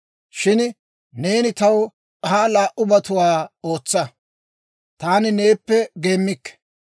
Shin neeni taw ha laa"ubatuwaa ootsa; taani neeppe geemmikke.